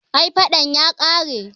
ai fadan ya kare